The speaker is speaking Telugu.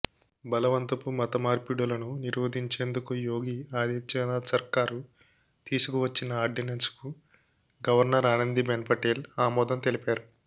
బలవంతపు మత మార్పిడులను నిరోధించేందుకు యోగి ఆదిత్యనాథ్ సర్కారు తీసుకువచ్చిన ఆర్డినెన్స్కు గవర్నర్ ఆనందిబెన్ పటేల్ ఆమోదం తెలిపారు